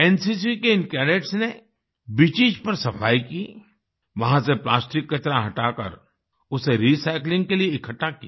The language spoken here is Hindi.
एनसीसी के इन कैडेट्स ने बीचेस पर सफाई की वहाँ से प्लास्टिक कचरा हटाकर उसे रिसाइक्लिंग के लिए इकट्ठा किया